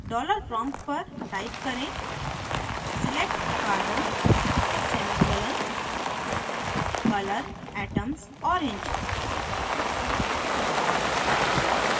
dollar prompt पर type करें select carbon semicolon color atoms orange select carbon semicolon color atoms orange